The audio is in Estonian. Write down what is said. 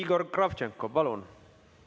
Igor Kravtšenko, palun!